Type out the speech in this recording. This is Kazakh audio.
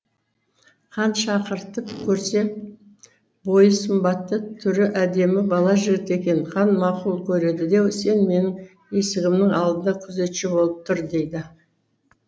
хан шақыртып көрсе бойы сымбатты түрі әдемі бала жігіт екен хан мақұл көреді де сен менің есігімнің алдында күзетші болып тұр дейді